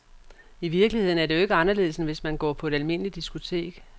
I virkeligheden er det jo ikke anderledes, end hvis man går på et almindeligt diskotek.